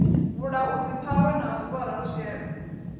vhulaudzi phahwe na vuvha raluswielo